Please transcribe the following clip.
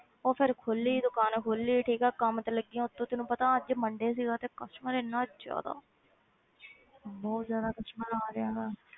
ਉਹ ਫਿਰ ਖੋਲੀ ਦੁਕਾਨ ਖੋਲੀ ਠੀਕ ਹੈ ਕੰਮ ਤੇ ਲੱਗੀ ਹਾਂ ਉੱਤੋਂ ਤੈਨੂੰ ਪਤਾ ਅੱਜ monday ਸੀਗਾ ਤੇ customer ਇੰਨਾ ਜ਼ਿਆਦਾ ਬਹੁਤ ਜ਼ਿਆਦਾ customer ਆ ਰਿਹਾ ਹੈਗਾ।